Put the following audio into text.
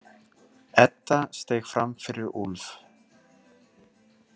Edda steig fram fyrir Úlf.